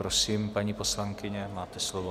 Prosím, paní poslankyně, máte slovo.